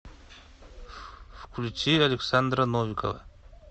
включи александра новикова